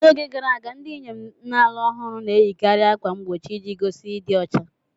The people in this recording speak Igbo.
N'oge gara aga, ndị inyom na-alụ ọhụrụ na-eyikarị ákwà mgbochi iji gosi ịdị ọcha.